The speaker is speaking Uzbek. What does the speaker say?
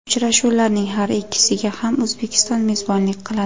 Uchrashuvlarning har ikkisiga ham O‘zbekiston mezbonlik qiladi.